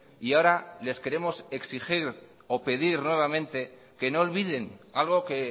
y ahora les queremos exigir o pedir nuevamente que no olviden algo que